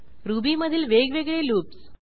रुबीमधील वेगवेगळे लूप्स